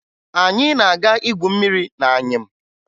Anyị na-aga igwu mmiri n'anyịm